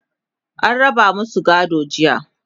an raba masu gadon jiya.